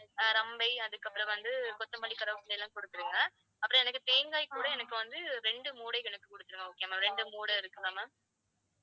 அஹ் அதுக்கப்புறம் வந்து கொத்தமல்லி, கருவேப்பிலை எல்லாம் கொடுத்திடுங்க, அப்புறம் எனக்கு தேங்காய் கூட எனக்கு வந்து ரெண்டு மூடை எனக்கு குடுத்துருங்க. okay ma'am. ரெண்டு மூடை இருக்குதா ma'am?